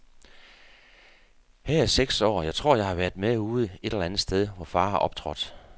Her er jeg seks år, og jeg tror jeg har været med ude et eller andet sted, hvor far har optrådt.